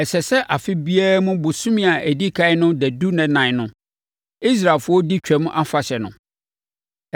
“Ɛsɛ sɛ afe biara mu bosome a ɛdi ɛkan no dadu nna ɛnan no, Israelfoɔ di Twam Afahyɛ no.